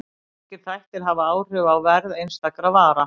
Margir þættir hafa áhrif á verð einstakra vara.